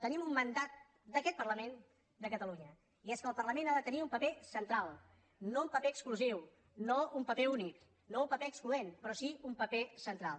tenim un mandat d’aquest parlament de catalunya i és que el parlament ha de tenir un paper central no un paper exclusiu no un paper únic no un paper excloent però sí un paper central